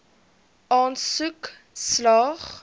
aansoek slaag